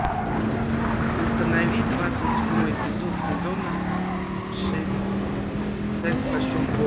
установи двадцать седьмой эпизод сезона шесть секс в большой городе